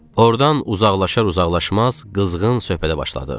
Ordan uzaqlaşar-uzaqlaşmaz qızğın söhbətə başladıq.